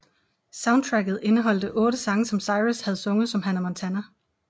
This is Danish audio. Soundtracket indeholdte otte sange som Cyrus havde sunget som Hannah Montana